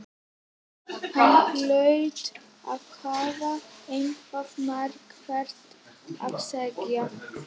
Hann hlaut að hafa eitthvað markvert að segja.